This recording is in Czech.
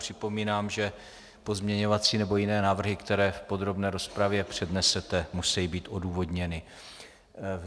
Připomínám, že pozměňovací nebo jiné návrhy, které v podrobné rozpravě přednesete, musejí být odůvodněny.